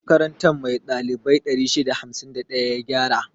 Makaranta mai ɗalibai 651 ya gyara.